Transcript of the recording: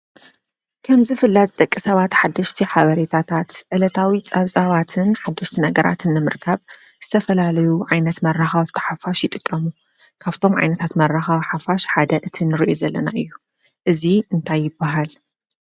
ከምዝ ፍላት ደቀ ሰባት ሓደሽቲ ሓበሬታታት ዕለታዊ ጻብፃዋትን ሓድሽቲ ነገራት እነምርካብ ዝተፈላለዩ ዓይነት መራኻ ኣፍተ ሓፋሽ ይጥቀሙ ካብቶም ዓይነታት መራኻ ሓፋሽ ሓደ እትን ርየ ዘለና እዩ እዙይ እንታይበሃል?